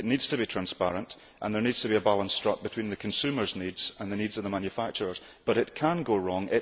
This Regulation needs to be transparent, and there needs to be a balance struck between consumers' needs and the needs of the manufacturers, but it can go wrong.